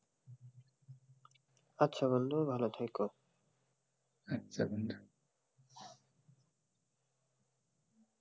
আচ্ছা বন্ধু ভালো থাইকো,